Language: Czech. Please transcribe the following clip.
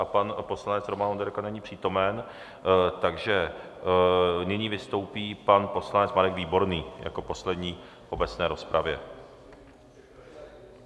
A pan poslanec Roman Onderka není přítomen, takže nyní vystoupí pan poslanec Marek Výborný jako poslední v obecné rozpravě.